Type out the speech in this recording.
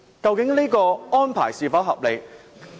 究竟這個安排是否合理？